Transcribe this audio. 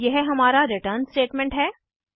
और यह हमारा रिटर्न स्टेटमेंट है